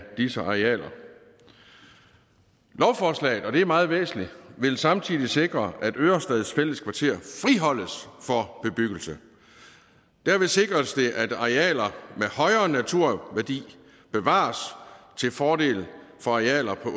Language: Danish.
disse arealer lovforslaget og det er meget væsentligt vil samtidig sikre at ørestad fælled kvarter friholdes for bebyggelse derved sikres det at arealer med højere naturværdi bevares til fordel for arealer på